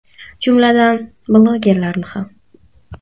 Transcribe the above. Jumladan, blogerlarni ham.